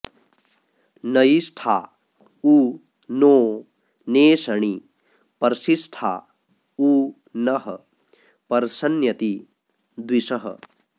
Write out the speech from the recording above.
नयि॑ष्ठा उ नो ने॒षणि॒ पर्षि॑ष्ठा उ नः प॒र्षण्यति॒ द्विषः॑